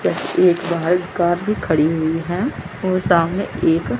जैसे एक बाहर कार भी खड़ी हुई है और सामने एक--